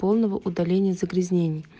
полного удаления загрязнений